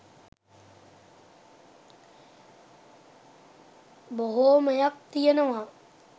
බොහෝමයක් තියෙනවා